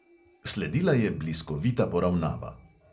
Sledila je bliskovita poravnava.